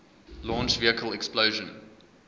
launch vehicle explosion